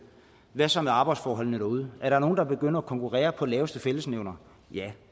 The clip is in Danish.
hvad så med arbejdsforholdene derude er der nogen der begynder at konkurrere på den laveste fællesnævner ja